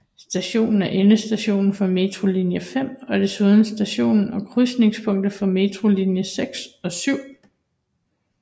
Stationen er endestation for metrolinje 5 og desuden station og krydsningspunkt for metrolinjerne 6 og 7